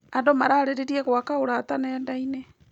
Andũ mararĩrĩria gwaka ũrata nenda-inĩ.